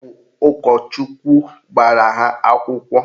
Ọ bụ ụkọchukwu gbara ha akwụkwọ